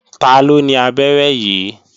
Taló ni abẹ́rẹ́ yìí?